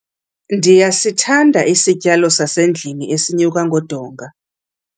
Ndiyasithanda isityalo sasendlwini esinyuka ngodonga.